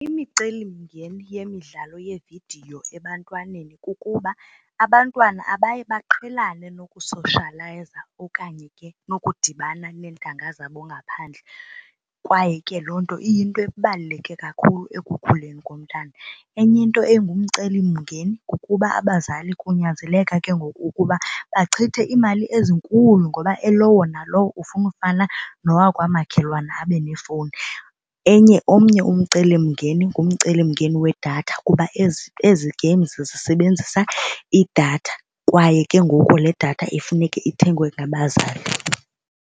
Imicelimngeni yemidlalo yeevidiyo ebantwaneni kukuba abantwana abaye baqhelane nokusoshiyalayiza okanye ke nokudibana neentanga zabo ngaphandle kwaye ke loo nto iyinto ebaluleke kakhulu ekukhuleni komntana. Enye into engumcelimngeni kukuba abazali kunyanzeleka ke ngoku ukuba bachithe iimali ezinkulu ngoba elowo nalowo ufuna ufana nowakwamakhelwane abe nefowuni. Enye omnye umcelimngeni ngumcelimngeni wedatha kuba ezi ezi games zisebenzisa idatha kwaye ke ngoku le datha kufuneke ithengwe ngabazali.